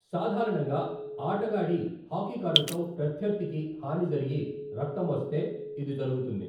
సాధారణంగా ఆటగాడి హాకీ కర్రతో, ప్రత్యర్థికి హాని జరిగి రక్తం వస్తే, ఇది జరుగుతుంది.